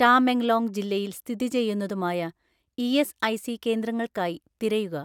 ടാമെങ്ലോങ് ജില്ലയിൽ സ്ഥിതി ചെയ്യുന്നതുമായ ഇഎസ്ഐസി കേന്ദ്രങ്ങൾക്കായി തിരയുക.